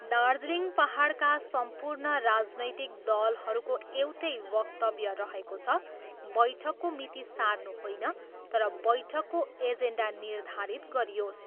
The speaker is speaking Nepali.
दार्जिलिङ पाहाडका सम्पूर्ण राजनैतिक दलहरूको एउटै वक्तव्य रहेको छ बैठकको मिति सार्नु होइन तर वैठकको एजेन्डा निर्धारित गरियोस्।